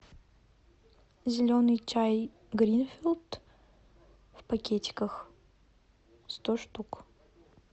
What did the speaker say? зеленый чай гринфилд в пакетиках сто штук